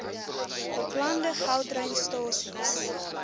beplande gautrain stasies